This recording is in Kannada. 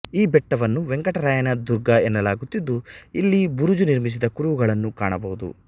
ಈ ಬೆಟ್ಟವನ್ನು ವೆಂಕಟರಾಯನ ದುರ್ಗ ಎನ್ನಲಾಗುತ್ತಿದ್ದು ಇಲ್ಲಿ ಬುರುಜು ನಿರ್ಮಿಸಿದ ಕುರುಹುಗಳನ್ನು ಕಾಣಬಹುದು